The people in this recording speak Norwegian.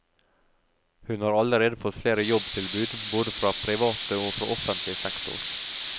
Hun har allerede fått flere jobbtilbud både fra private og fra offentlig sektor.